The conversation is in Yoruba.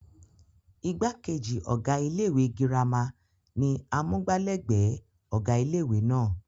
igbákejì ọ̀gá ilé ìwé girama ni amúgbálẹ́gbẹ̀ẹ́ ọ̀gá ilé ìwé náà